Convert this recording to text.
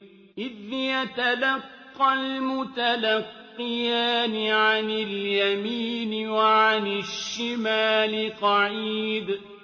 إِذْ يَتَلَقَّى الْمُتَلَقِّيَانِ عَنِ الْيَمِينِ وَعَنِ الشِّمَالِ قَعِيدٌ